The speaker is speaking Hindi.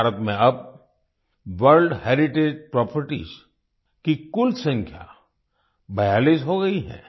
भारत में अब वर्ल्ड हेरिटेज प्रॉपर्टीज की कुल संख्या 42 हो गई है